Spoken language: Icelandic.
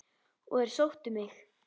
Og þeir sóttu mig.